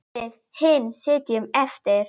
Við hin sitjum eftir.